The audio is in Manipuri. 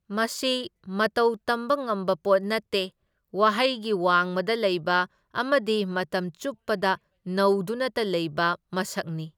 ꯃꯁꯤ ꯃꯇꯧꯇꯝꯕ ꯉꯝꯕ ꯄꯣꯠ ꯅꯠꯇꯦ, ꯋꯥꯍꯩꯒꯤ ꯋꯥꯡꯃꯗ ꯂꯩꯕ ꯑꯃꯗꯤ ꯃꯇꯝ ꯆꯨꯞꯄꯗ ꯅꯧꯗꯨꯅꯇ ꯂꯩꯕ ꯃꯁꯛꯅꯤ꯫